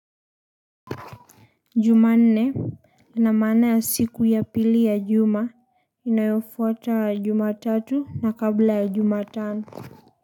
Jumanne ina maana ya siku ya pili ya juma inayofuata jumatatu na kabla ya juma tano.